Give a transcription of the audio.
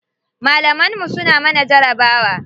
Malaman mu suna mana jarabawa.